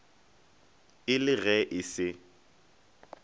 e le ge e se